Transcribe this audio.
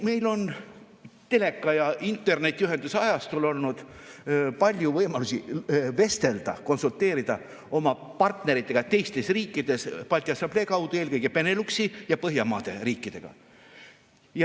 Meil on teleka ja internetiühenduse ajastul olnud palju võimalusi vestelda, konsulteerida oma partneritega teistes riikides Balti Assamblee kaudu, eelkõige Beneluxi ja Põhjamaade riikidega.